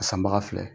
A sanbaga filɛ